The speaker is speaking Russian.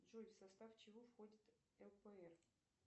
джой в состав чего входит лпр